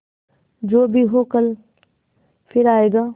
जो भी हो कल फिर आएगा